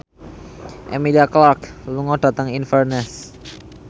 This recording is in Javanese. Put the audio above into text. Emilia Clarke lunga dhateng Inverness